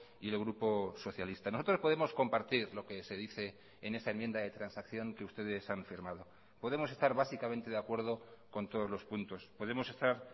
y el grupo socialista nosotros podemos compartir lo que se dice en esa enmienda de transacción que ustedes han firmado podemos estar básicamente de acuerdo con todos los puntos podemos estar